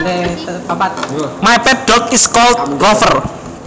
My pet dog is called Rover